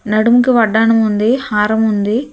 నడుం కి వడ్డాణం ఉంది హారం ఉంది.